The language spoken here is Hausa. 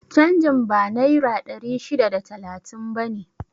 Canjin ba naira ɗari shida da talatin bane?